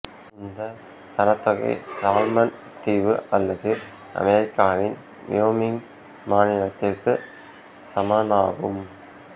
இந்த சனத்தொகை சாலமன் தீவு அல்லது அமெரிக்காவின் வயோமிங் மாநிலத்திற்கு சமனாகும்